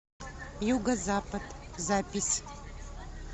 юго запад запись